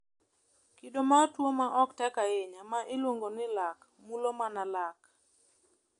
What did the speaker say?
Kido mar tuwo ma ok tek ahinya, ma iluongo ni lak, mulo mana lak.